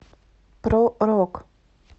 про рок